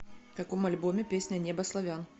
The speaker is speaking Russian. в каком альбоме песня небо славян